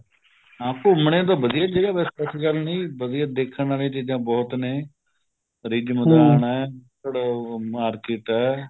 ਹਾਂ ਘੁੰਮਨੇ ਨੂੰ ਵਧੀਆ ਜਗ੍ਹਾ ਐਸੀ ਗੱਲ ਨੀ ਦੇਖਣ ਆਲੀਆਂ ਚੀਜ਼ਾਂ ਬਹੁਤ ਨੇ ਆ ਭੜੋ market ਹੈ